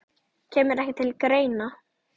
Kemur ekki til greina